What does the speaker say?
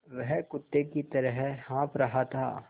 वह कुत्ते की तरह हाँफ़ रहा था